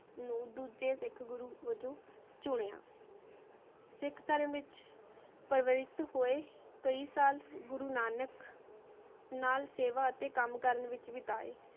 ਨੂ ਦੋਜਯ ਸਿਖ ਗੁਰੂ ਵਾਜੂ ਚੁਨ੍ਯ ਸਿਖ ਧਰਮ ਵਿਚ ਪਾਵਿਖ ਹੋਆਯ ਕਈ ਸਾਲ ਗੁਰੂ ਨਾਨਕ ਨਾਲ ਸੇਵਾ ਤੇ ਕਾਮ ਕਰਨ ਵਿਚ ਬੀਤੇ